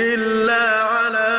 إِلَّا عَلَىٰ